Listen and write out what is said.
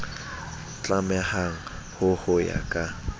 tlamehang ho ho ya ka